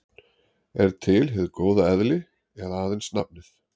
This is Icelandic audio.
Er til hið góða eðli eða aðeins nafnið?